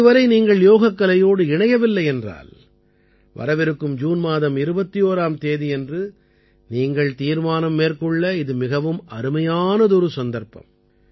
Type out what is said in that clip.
இதுவரை நீங்கள் யோகக்கலையோடு இணையவில்லை என்றால் வரவிருக்கும் ஜூன் மாதம் 21ஆம் தேதியன்று நீங்கள் தீர்மானம் மேற்கொள்ள இது மிகவும் அருமையானதொரு சந்தர்ப்பம்